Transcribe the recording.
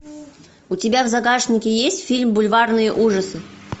у тебя в загашнике есть фильм бульварные ужасы